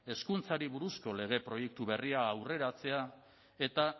hezkuntzari buruzko lege proiektu berria aurreratzea eta